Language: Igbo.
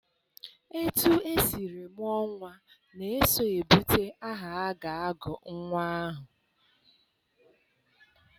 Etu esiri mụọ nnwa na-eso ebute aha a ga-agụ nnwa ahụ.